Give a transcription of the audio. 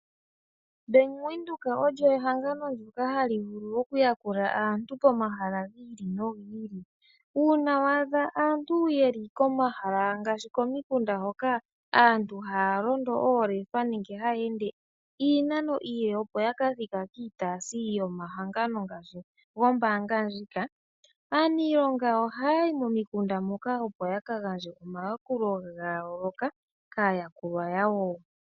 Bank Windhoek olyo ehangano ndyoka hali vulu okuyakula aantu pomahala gi ili nogi ili. Uuna waadha aantu ye li komahala ngaashi komikunda hoka aantu haya londo oolefa nenge haya ende iinano iile opo ya kathike kiitaasi yomahangano ngaashi gombaanga ndjika. Aaniilonga oha ya yi momikunda moka opo ya kagandje omayakulo ga yooloka kaayakulwa yawo.